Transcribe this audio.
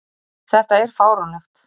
Þetta er fáránlegt